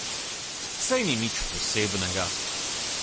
Saj ni nič posebnega ...